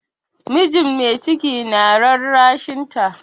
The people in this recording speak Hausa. Mijin mai ciki na rarrashinta.